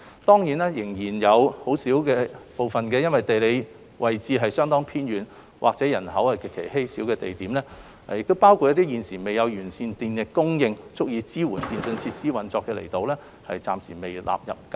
當然，仍有一些地理位置相當偏遠和人口極稀少的地點，包括一些現時未有完善的電力供應足以支援電訊設施的運作的離島，暫時未被納入計劃。